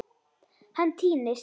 Hann týnist.